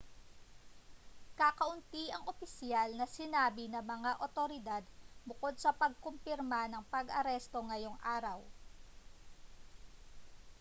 kakaunti ang opisyal na sinabi ng mga otoridad bukod sa pagkumpirma ng pag-aresto ngayong araw